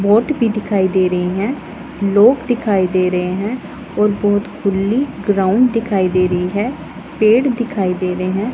Boat भी दिखाई दे रही है। लोग दिखाई दे रहे हैं और बहोत खुल्ली ग्राउंड दिखाई दे रही है। पेड़ दिखाई दे रहे हैं।